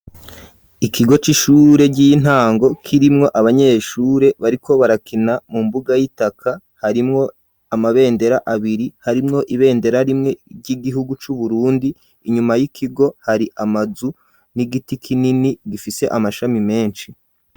Ikigo c'ishure ry'intango kirimwo abanyeshure bariko barakina mu mbuga yitaka harimwo amabendera abiri harimwo ibendera rimwe ry'igihugu cu Burundi inyuma y'ikigo hari amazu n'igiti kinini gifise amashami meshi.